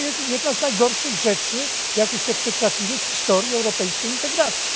Jest to jedna z najgorszych rzeczy, jakie się przytrafiły w historii europejskiej integracji.